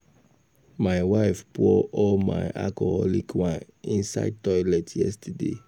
My wife pour all my alcoholic wine inside toilet yesterday